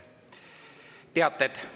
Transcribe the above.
Teated.